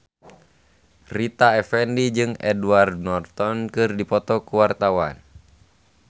Rita Effendy jeung Edward Norton keur dipoto ku wartawan